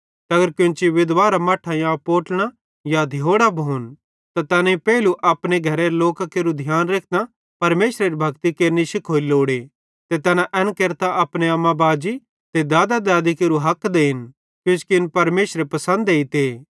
ते अगर कोन्ची विधवारां मट्ठां या पोट्लड़ां या धियोड़ां भोन ते तैन पेइलू अपने घरेरे लोकां केरू ध्यान रेखतां परमेशरेरी भक्ति केरनि शिखोरी लोड़े ते तैना एन केरतां अपने अम्माबाजी ते दादा देदी केरू हक देन किजोकि इन परमेशरे पसंद एइते